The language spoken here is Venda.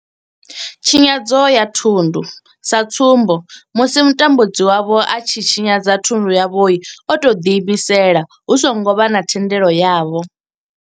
Tshinyadzo ya thundu, sa tsumbo musi mutambudzi wavho a tshi tshinyadza thundu yavho o tou ḓiimisela hu songo vha na thendelo yavho.